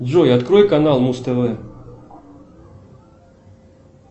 джой открой канал муз тв